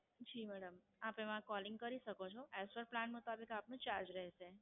જી madam, આપ એમાં Callling કરી શકો છો. Extra plan કરવો હોય તો આપને ચાર્જ રહેશે.